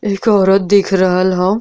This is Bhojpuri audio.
एक औरत दिख रहल ह।